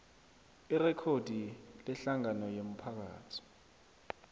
irekhodi lehlangano yomphakathi